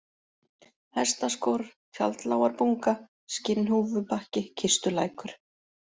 Hestaskor, Tjaldlágarbunga, Skinnhúfubakki, Kistulækur